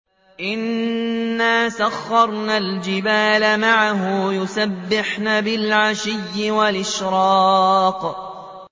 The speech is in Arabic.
إِنَّا سَخَّرْنَا الْجِبَالَ مَعَهُ يُسَبِّحْنَ بِالْعَشِيِّ وَالْإِشْرَاقِ